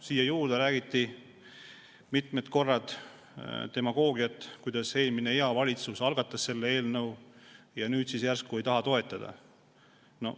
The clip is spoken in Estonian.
Siia juurde räägiti mitmel korral demagoogiliselt, et eelmine, hea valitsus algatas selle eelnõu ja nüüd siis järsku ei taheta toetada.